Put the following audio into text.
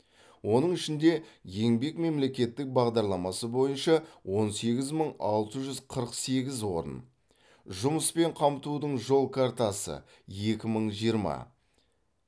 оның ішінде еңбек мемлекеттік бағдарламасы бойынша он сегіз мың алты жүз қырық сегіз орын жұмыспен қамтудың жол картасы екі мың жиырма